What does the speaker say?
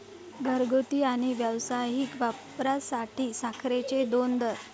घरगुती आणि व्यावसायिक वापरासाठी साखरेचे दोन दर